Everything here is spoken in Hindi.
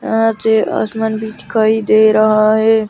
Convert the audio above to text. यहां से आसमान भी दिखाई दे रहा है।